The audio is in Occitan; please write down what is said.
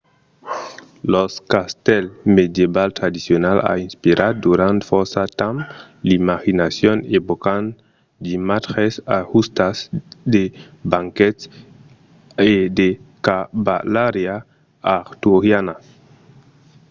lo castèl medieval tradicional a inspirat durant fòrça temps l’imaginacion evocant d’imatges d’ajustas de banquets e de cavalariá arturiana